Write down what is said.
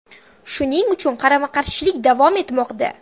Shuning uchun qarama-qarshilik davom etmoqda.